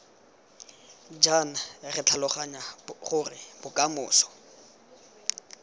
jaana re tlhaloganya gore bokamoso